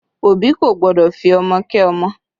Òbí kò gbọ́dọ̀ fi ọmọ kẹ́ ọmọ